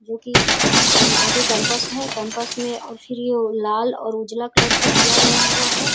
जो की और आगे कैंपस है कैंपस में और फिर ये लाल और उजाला कलर से किया गया हुआ है।